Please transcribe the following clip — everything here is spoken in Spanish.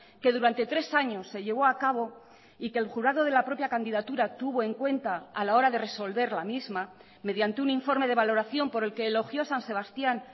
que durante tres años se llevó a cabo y que el jurado de la propia candidatura tuvo en cuenta a la hora de resolver la misma mediante un informe de valoración por el que elogió san sebastían